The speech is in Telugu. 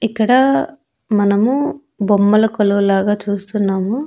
ఇక్కడ మనము బొమ్మల కొలువు లాగా చూస్తున్నాము.